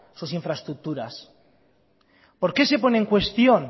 sus infraestructuras por qué se pone en cuestión